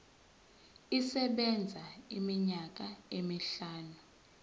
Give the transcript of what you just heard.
isebenza iminyaka emihlanu